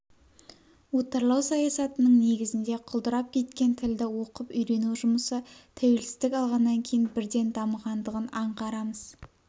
отарлау саясатының негізінде құлдырап кеткен тілді оқып-үйрену жұмысы тәуелсіздік алғаннан кейін бірден дамығандығын аңғарамыз